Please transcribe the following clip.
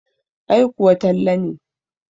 Ai kuwa Talle ne.